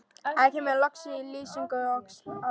Þetta kemur allt fram í lýsingu orðsins áhugi: